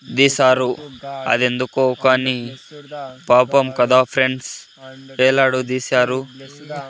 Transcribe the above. దీశారు అదెందుకో కానీ పాపం కదా ఫ్రెండ్స్ వేలాడ దీశారు.